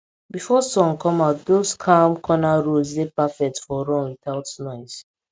before sun come out those calm corner roads dey perfect for run without noise